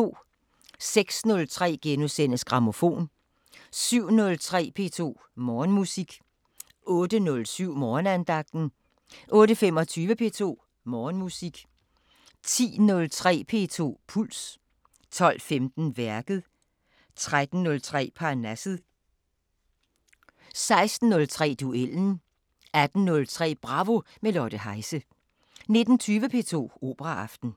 06:03: Grammofon * 07:03: P2 Morgenmusik 08:07: Morgenandagten 08:25: P2 Morgenmusik 10:03: P2 Puls 12:15: Værket 13:03: Parnasset 16:03: Duellen 18:03: Bravo – med Lotte Heise 19:20: P2 Operaaften